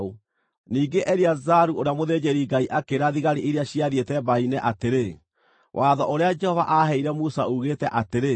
Ningĩ Eleazaru ũrĩa mũthĩnjĩri-Ngai akĩĩra thigari iria ciathiĩte mbaara-inĩ atĩrĩ, “Watho ũrĩa Jehova aaheire Musa uugĩte atĩrĩ: